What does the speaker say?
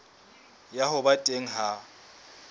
ya ho ba teng ha